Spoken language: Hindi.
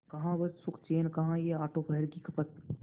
कहाँ वह सुखचैन कहाँ यह आठों पहर की खपत